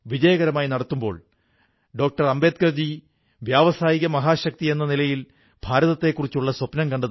അദ്ദേഹം വരുന്ന തലമുറയുടെ വഴികാട്ടലിനായി രാമായണം പോലുള്ള മഹാഗ്രന്ഥം രചിച്ചുവെന്നതിൽ നാം മഹർഷി വാല്മീകിയോട് എന്നും കൃതജ്ഞതയുള്ളവരായിരിക്കും